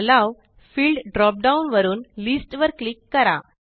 yellow field drop down वरुन list वर click करा